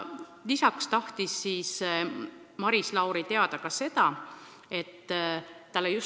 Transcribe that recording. Lisaks tahtis Maris Lauri teada veel üht asja.